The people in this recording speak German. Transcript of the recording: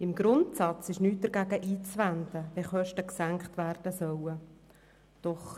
Im Grundsatz ist nichts dagegen einzuwenden, wenn Kosten gesenkt werden sollen.